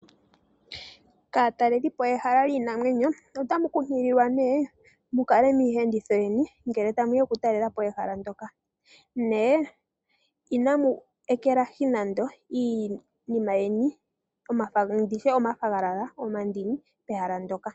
Kaatalelipo yehala lyiinamwenyo ota mu nkunkililwa nee mu kale miiyenditho yeni ngele tamu ya okutalelapo ehala ndyoka nye ina mu ekelahi nande iinima yeni ngaashi omafwagalala nomandini pehala ndyoka.